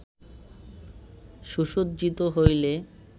সুসজ্জিত হইলে